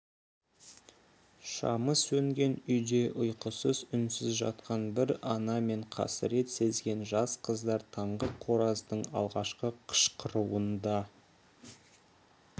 шамы сөнген үйде ұйқысыз үнсіз жатқан бір ана мен қасірет сезген жас қыздар таңғы қораздың алғашқы қышқыруын да